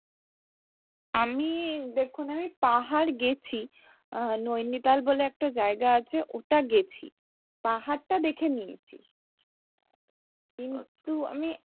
আমি দেখুন আমি পাহাড় গেছি আহ নৈনিতাল বলে একটা জায়গা আছে ওটা গেছি পাহাড়টা দেখে নিয়েছি কিন্তু আমি,